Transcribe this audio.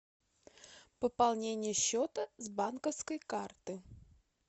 пополнение счета с банковской карты